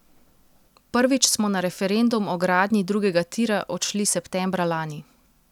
Prvič smo na referendum o gradnji drugega tira odšli septembra lani.